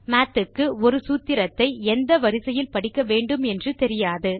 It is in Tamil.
மாத் க்கு ஒரு சூத்திரத்தை எந்த வரிசையில் படிக்க வேண்டும் என்று தெரியாது